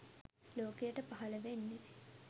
ලෝකයට පහළ වෙන්නේ